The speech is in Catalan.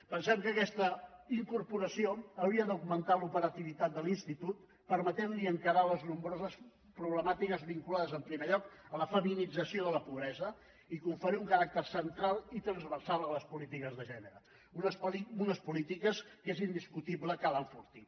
pensem que aquesta incorporació hauria d’augmentar l’operativitat de l’institut i permetre li encarar les nombroses problemàtiques vinculades en primer lloc a la feminització de la pobresa i conferir un caràcter central i transversal a les polítiques de gènere unes polítiques que és indiscutible que ha d’enfortir